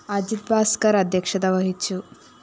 അജിത് ഭാസ്‌കര്‍ അദ്ധ്യക്ഷത വഹിച്ചു